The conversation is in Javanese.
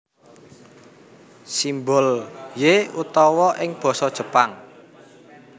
Simbol ¥ utawa ing basa Jepang